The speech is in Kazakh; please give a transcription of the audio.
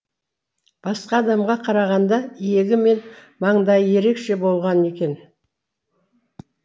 басқа адамға қарағанда иегі мен маңдайы ерекше болған екен